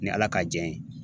Ni Ala ka jɛn ye